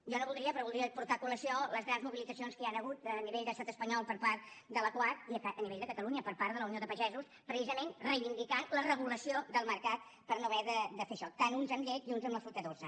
jo no voldria però voldria portar a col·lació les grans mobilitzacions que hi han hagut a nivell d’estat espanyol per part de la coag i a nivell de catalunya per part de la unió de pagesos precisament reivindicant la regulació del mercat per no haver de fer això tant uns amb llet i uns amb la fruita dolça